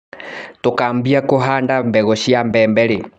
Tũkambia kũhanda mbegũ cia mbembe rĩ.